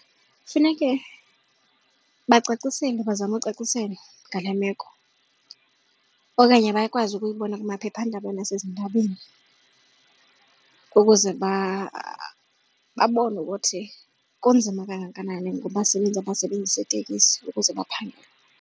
Funeke bacaciselwe bazame ucaciselwa ngale meko okanye bakwazi ukuyibona kumaphephandaba nasezindabeni ukuze babone ukuthi kunzima kangakanani ngabasebenzi abasebenzisa itekisi ukuze baphangele.